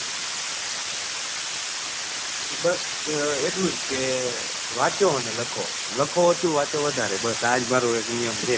બસ એટલું જ કે વાંચો ને લખો લખો ઓછુ અને વાંચો વધારે બસ આ જ મારો એક નિયમ છે.